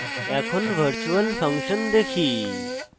এখন virtual function দেখি